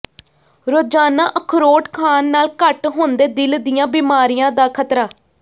ਰੋਜ਼ਾਨਾ ਅਖਰੋਟ ਖਾਣ ਨਾਲ ਘੱਟ ਹੁੰਦੈ ਦਿਲ ਦੀਆਂ ਬੀਮਾਰੀਆਂ ਦਾ ਖਤਰਾ